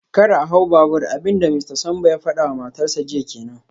Kar a hau babur, abin da Mista Sambo ya fada wa matarsa ​​jiya kenan